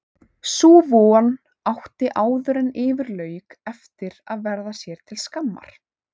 Sú von átti áðuren yfir lauk eftir að verða sér til skammar.